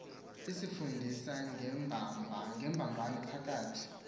isifundisa ngembambano phakathi